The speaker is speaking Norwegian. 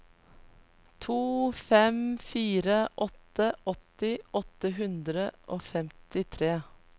to fem fire åtte åtti åtte hundre og femtitre